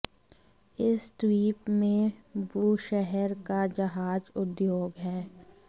इस द्वीप में बूशहर का जहाज़ उद्योग है